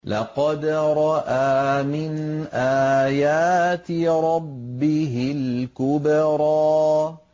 لَقَدْ رَأَىٰ مِنْ آيَاتِ رَبِّهِ الْكُبْرَىٰ